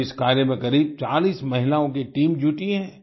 आज इस कार्य में करीब चालीस महिलाओं की टीम जुटी है